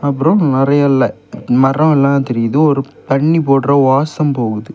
அப்புறம் மறையஎல்லா மரம் எல்லாம் தெரியுது ஒரு பன்னி போடற வாசம் போகுது.